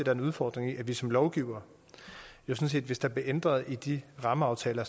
er en udfordring i at vi som lovgivere hvis der bliver ændret i de rammeaftaler